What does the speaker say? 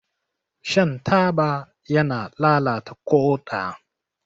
Shan taba yana lalata ƙoda.